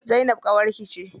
Zainab ƙawarki ce?